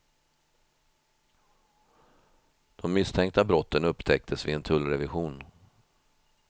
De misstänkta brotten upptäcktes vid en tullrevision.